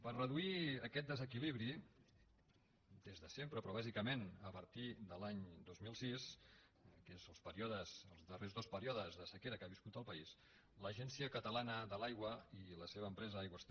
per reduir aquest desequilibri des de sempre però bàsicament a partir de l’any dos mil sis que és els períodes els darrers dos períodes de sequera que ha viscut el país l’agència catalana de l’aigua i la seva empresa aigües ter